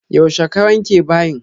Yaushe ka wanke bayin?